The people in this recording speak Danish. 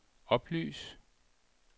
oplys